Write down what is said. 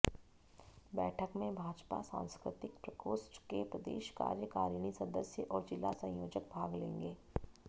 बैठक में भाजपा सांस्कृतिक प्रकोष्ठ के प्रदेश कार्यकारिणी सदस्य और जिला संयोजक भाग लेंगे